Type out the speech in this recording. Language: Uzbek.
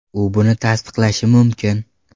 U buni tasdiqlashi mumkin.